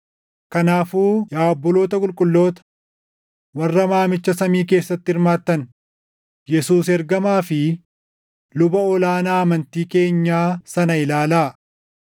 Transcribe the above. Kanaafuu yaa obboloota qulqulloota, warra waamicha samii keessatti hirmaattan, Yesuus ergamaa fi luba ol aanaa amantii keenyaa sana ilaalaa.